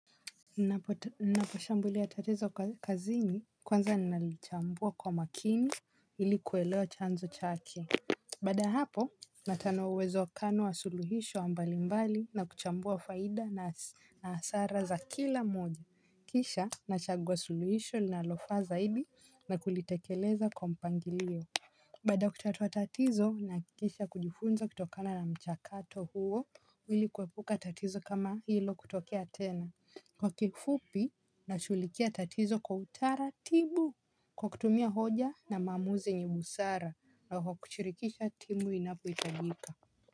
Ninaposhambuli tatizo kwa kazini kwanza nalichambua kwa makini ilikuweleo chanzo chake. Baada ya hapo natanowezo kano wa suluhisho mbali mbali na kuchambua faida na hasara za kila moja. Kisha nachagua suluhisho linalofa zaidi na kulitekeleza kwa mpangilio. Baada kutatua tatizo na kikisha kujifunza kutokana na mchakato huo ili kuepuka tatizo kama hilo kutokea tena. Kwa kifupi na shughulikia tatizo kwa utara tibu. Kwa kutumia hoja na maamuzi yenye busara na kwa kuchirikisha timu inapoh itajika.